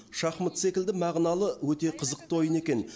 шахмат секілді мағыналы өте қызықты ойын екен